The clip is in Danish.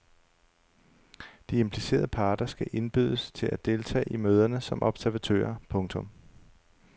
De implicerede parter skal indbydes til at deltage i møderne som observatører. punktum